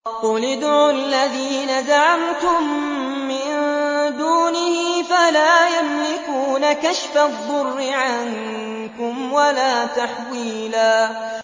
قُلِ ادْعُوا الَّذِينَ زَعَمْتُم مِّن دُونِهِ فَلَا يَمْلِكُونَ كَشْفَ الضُّرِّ عَنكُمْ وَلَا تَحْوِيلًا